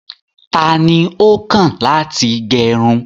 Tani o kàn láti gẹrún?